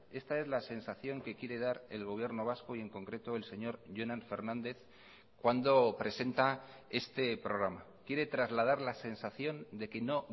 esta es la sensación que quiere dar el gobierno vasco y en concreto el señor jonan fernández cuando presenta este programa quiere trasladar la sensación de que no